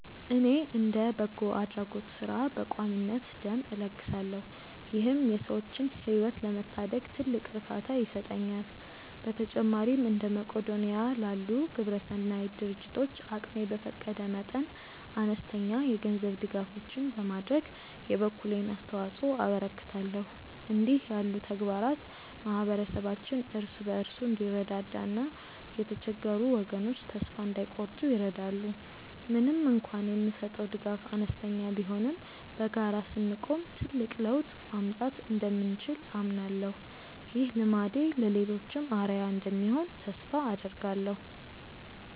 እኔ እንደ በጎ አድራጎት ሥራ በቋሚነት ደም እለግሳለሁ ይህም የሰዎችን ሕይወት ለመታደግ ትልቅ እርካታ ይሰጠኛል። በተጨማሪም እንደ መቅዶንያ ላሉ ግብረሰናይ ድርጅቶች አቅሜ በፈቀደ መጠን አነስተኛ የገንዘብ ድጋፎችን በማድረግ የበኩሌን አስተዋጽኦ አበረክታለሁ። እንዲህ ያሉ ተግባራት ማኅበረሰባችን እርስ በርሱ እንዲረዳዳና የተቸገሩ ወገኖች ተስፋ እንዳይቆርጡ ይረዳሉ። ምንም እንኳን የምሰጠው ድጋፍ አነስተኛ ቢሆንም በጋራ ስንቆም ትልቅ ለውጥ ማምጣት እንደምንችል አምናለሁ። ይህ ልማዴ ለሌሎችም አርአያ እንደሚሆን ተስፋ አደርጋለሁ።